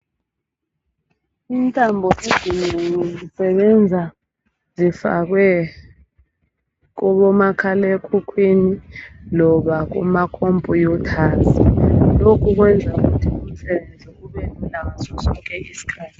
Intambo ezinengi zisebenza zifakwe kobo makhalekhukhwini loba kuma khompuyutha lokhu kwenza ukuthi umsebenzi ubelula ngasosonke isikhathi.